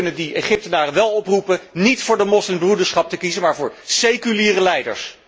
Wij kunnen die Egyptenaren wél oproepen niet voor de Moslimbroederschap te kiezen, maar voor seculiere leiders.